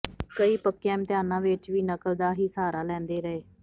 ਕਈ ਪੱਕਿਆਂ ਇਮਤਿਹਾਨਾਂ ਵਿੱਚ ਵੀ ਨਕਲ ਦਾ ਹੀ ਸਹਾਰਾ ਲੈਂਦੇ ਰਹੇ